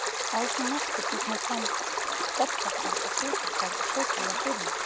Að svo mæltu tekur hún fram bollapar og sykurkar og setur fyrir mig.